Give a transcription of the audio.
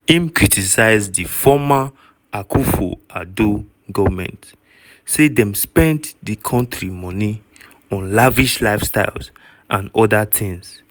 im criticize di former akufo-addo goment say dem spend di kontri moni on lavish lifestyles and oda tins.